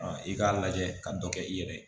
i k'a lajɛ ka dɔ kɛ i yɛrɛ ye